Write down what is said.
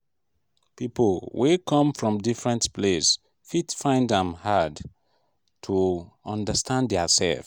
people wey come from different place fit find am um hard um to understand their sef